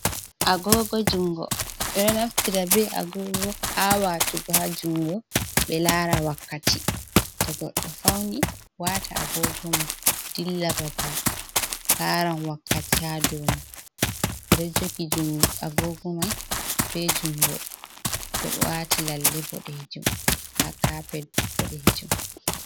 Agogo jungo, ɓeɗo naftira be agogo ha watugo ha jungo ɓe lara wakkati, to goɗɗo fauni wata agogo mon dilla babal laran wakkati ha dou mai, ɓe ɗo jogi agogo mai be jungo ɗo wati lalle boɗejum, ha kapet boɗejum.